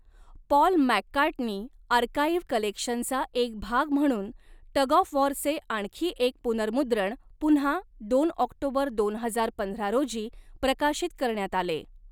Paul McCartney archive कलेक्शनचा एक भाग म्हणून टग ऑफ वॉरचे आणखी एक पुनर्मुद्रण पुन्हा दोन ऑक्टोबर दोन हजार पंधरा रोजी प्रकाशित करण्यात आले.